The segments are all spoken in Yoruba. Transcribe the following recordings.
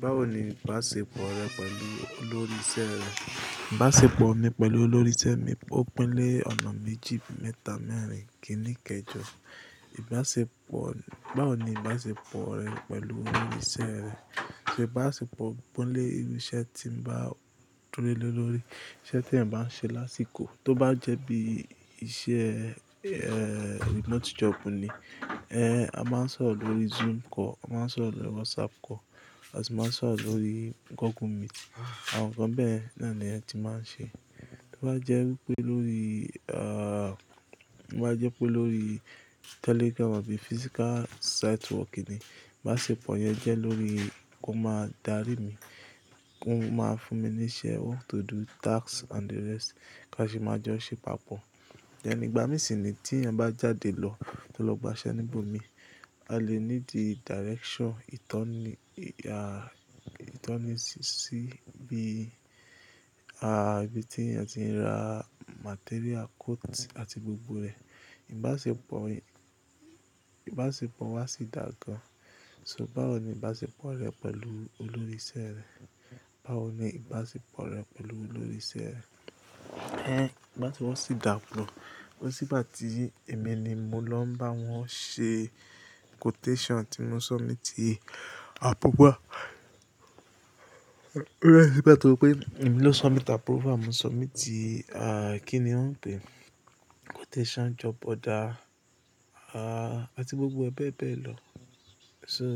Báwo ni ìbáṣepọ̀ rẹ pẹ̀lú olórí iṣẹ́ rẹ? Ìbáṣepọ̀ mi pẹ̀lú olórí iṣẹ́ mi ó pín lé ọ̀nà méjì, mẹ́ta mẹ́rin kìíní kejọ. Ìbáṣepọ̀, báwo ni ìbáṣepọ̀ rẹ pẹ̀lù olórí iṣẹ́ rẹ? So ìbáṣepọ̀ ń pín lé irú iṣẹ́ tí ń bá dúró lé lórí, iṣẹ́ tí ẹ̀ ń bá n ṣe lásìkò. Tó bá jẹ́ bí iṣẹ́, eh, remote job ni, eh, a máa ń sọ̀rọ̀ lórí Zoom call, a máa ń sọ̀rọ̀ lórí WhatsApp call, àti máa ń sọ̀rọ̀ lórí Google Meet. Àwọn nǹkan bẹ́ẹ̀ náà ni ẹ ti máa ń ṣe. Tó bá jẹ́ wípé lórí, ah, tó bá jẹ́ pé lórí telegram àbí physical site work ni, ìbáṣepọ̀ yẹn jẹ́ lórí kó máa darí mi, kí ó máa fún mi ní iṣẹ́, what to do, tasks and the rest ká sì máa jọ ṣe papọ̀. Ẹni ìgbà mí sì ni tí ẹ̀ ń bá jáde lọ, tó lọ gba iṣẹ́ níbò mi, a lè ní di direction, ìtọ́ni, ah, ìtọ́ni sí bí, ah, ibi tí ẹ̀ ti ń ra material, quote àti gbogbo rẹ̀. Ìbáṣepọ̀ mi, ìbáṣepọ̀ wa sì dàdàà. So báwo ni ìbáṣepọ̀ rẹ pẹ̀lú olórí iṣẹ́ rẹ? Báwo ni ìbáṣepọ̀ rẹ pẹ̀lú olórí iṣẹ́ rẹ? Ẹ́n, ìbáṣepọ̀ sì dà pọ̀. Torí síbà tí èmi ni mo lọ ń bá wọn ṣe quotation tí mo submit approval. Ọ̀rẹ́ rẹ̀, torí pé èmi ló submit approval, mo submit, ah, kí ni wọ́n ń pè ẹ́? Quotation job order, ah, àti gbogbo ẹ bẹ́ e bẹ́ ẹ lọ. So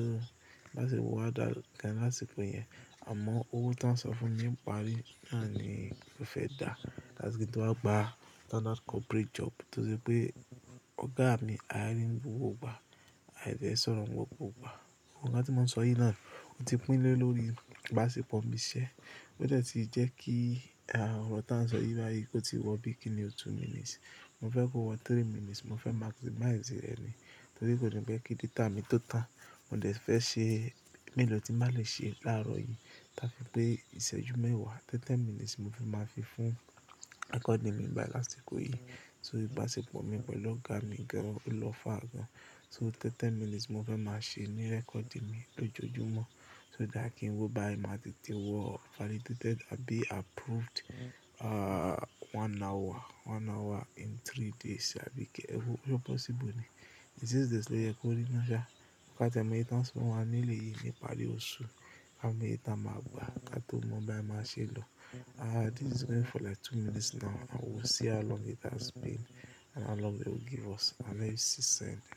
ìbáṣepọ̀ wa dà gan lásìkò yẹn. Àmọ́ owó tí wọ́n sọ fún mi ń pari náà ni mo fẹ́ dà. Láti kí n tó wá gba another corporate job to sé pé ọ̀gá mi á rí mí owó gbà, àdí ẹ sọ̀rọ̀ mọ́ wọn púpọ̀ gbà. Ohun kan tí mò ń sọ yìí náà ó ti pín lé lórí ìbáṣepọ̀ mi iṣẹ́. Ó jẹ̀ tí jẹ́ kí, ah, ọ̀rọ̀ tí a ń sọ yìí báyìí kó ti wọ bíi kíni two minutes. Mo fẹ́ kó wọ three minutes, mo fẹ́ maximize rẹ̀ ni. Torí kò ní pẹ́ kí data mi tó tan. Mo dẹ̀ fẹ́ ṣe, èmi ló ti má lè ṣe láàárọ̀ yìí. Láti pé ìṣẹ́jú mẹ́wàá, tẹ́tẹ́ minutes mo fi máa fi fún recording mi bá lásìkò yìí. So ìbáṣepọ̀ mi pẹ̀lú ọ̀gá mi gan, ó lọ́fà gan. So tẹ́tẹ́ minutes mo fẹ́ máa ṣe ní recording mi lójoojúmọ́. So dá kí n wo bá ẹ máa tètè wọ validated àbí approved, ah, one hour, one hour in three days. Àbí kí, ẹ kú, ọ̀pọ̀ sì bù ni. It is this ló yẹ kó rí i mọ́ já. Kà tíẹ̀ móyè tàn sọ wá nílé yìí ni ipari oṣù ká mòyé ta máa gbà ká tó mọ bí a máa ṣe lọ. Ah, this is going for like two minutes now and we'll see how long it has been and how long they will give us. I leave you see soon.